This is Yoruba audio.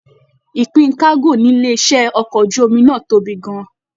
Ìpín kago nílé iṣẹ ọkọ̀ ojú omi náà tóbi gán-an.